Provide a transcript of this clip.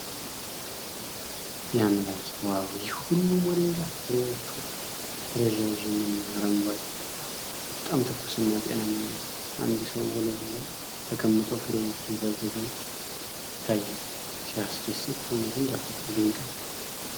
ያአምላኬ! ዋው፣ ይህ ሁሉ ሞሪንጋ! ፍሬዎቹ ረዣዥም እና አረንጓዴ ናቸው፣ በጣም ትኩስና ጤናማ ይመስላል። አንድ ሰው ወለሉ ላይ ተቀምጦ ፍሬዎቹን ሲያዘጋጅ ይታያል። ሲያስደስት! በእውነትም ተፈጥሮ ድንቅ ናት።